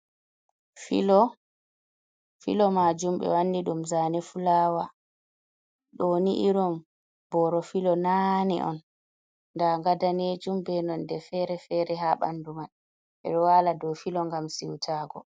filo ɗon jooɗi, filo maajum ɓe wanni ɗum zane fulaawa, ɗoo nii irin booro filo nane on daga daneejum bee none feere-feere haa ɓanndu man ɓeɗo wala dow filo ngam siutaago.